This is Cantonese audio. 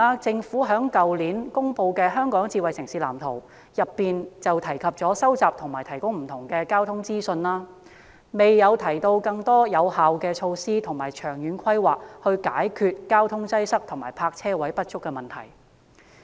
政府去年公布了《香港智慧城市藍圖》，當中提及收集和提供不同的交通資訊，但未有提出更多有效措施和長遠規劃來解決交通擠塞及泊車位不足的問題。